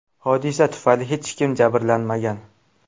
Hodisa tufayli hech kim jabrlanmagan.